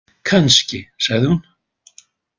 Kannski, sagði hún.